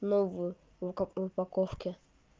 новую ну как в упаковке